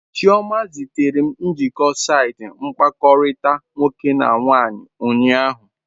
Chioma zitere m njikọ saịtị mkpakọrịta nwoke na nwaanyị ụnyaahụ.